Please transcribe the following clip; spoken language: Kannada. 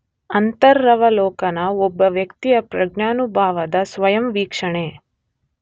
ಅಂತರವಲೋಕನ ಒಬ್ಬ ವ್ಯಕ್ತಿಯ ಪ್ರಜ್ಞಾನುಭವದ ಸ್ವಯಂ ವೀಕ್ಷಣೆ.